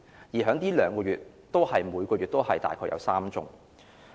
而在這2個月，每個月亦大概有3宗。